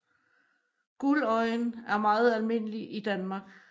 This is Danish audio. Guldøjen er meget almindelig i Danmark